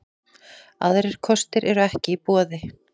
Aðrir kostir eru ekki í boði